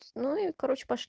ну и как